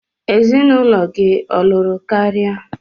Ezinụlọ gị ọ lụrụ karịa?